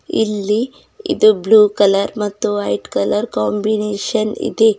ಇಲ್ಲಿ ಇದು blue colour ಮತ್ತು ವೈಟ್ ಕಲರ್ ಕಾಂಬಿನೇಶನ್ ಇದೆ.